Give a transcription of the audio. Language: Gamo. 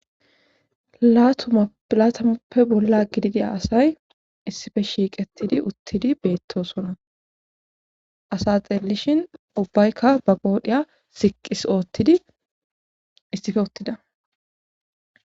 latumapilatamoppe bolla gididi asay issife shiiqettidi uttidi beettosona asa xelishin ubbaykka ba goodhiya siqqis oottidi issife uttida